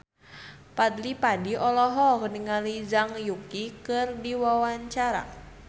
Fadly Padi olohok ningali Zhang Yuqi keur diwawancara